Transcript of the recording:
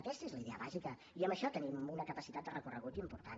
aquesta és la idea bàsica i en això tenim una capacitat de recorregut important